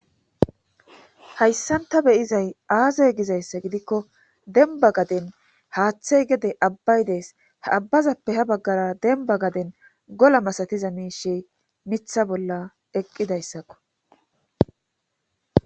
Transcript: Hayssanta beyizay aazey gizayssa gidikko denba gaden haaththey gede abbay dees abbazappe ha baggara denba gaden gola masatiza miishe mitha bolla eqqidayssakko